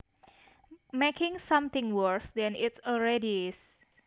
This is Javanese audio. making something worse than it already is